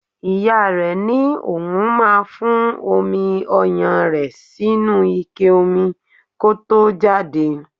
Ìyá rẹe ní òun máa fún omi ọyàn rẹ̀ sínú ike omi kó tó jáde.